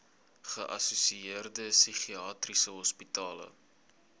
geassosieerde psigiatriese hospitale